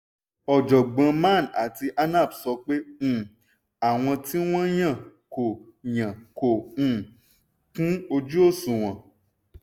ọ̀jọ̀gbọ́n man àti anap sọ pé um àwọn tí wọ́n yàn kò yàn kò um kún-ojú-òṣùwọ̀n.